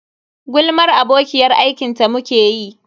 Gulmar abokiyar aiki ta muke yi.